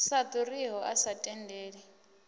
sa ḓuriho a sa tendeli